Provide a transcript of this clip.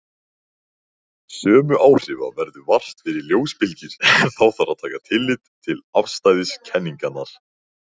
Sömu áhrifa verður vart fyrir ljósbylgjur en þá þarf að taka tillit til afstæðiskenningarinnar.